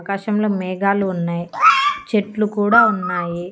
ఆకాశంలో మేఘాలు ఉన్నాయ్ చెట్లు కూడా ఉన్నాయి.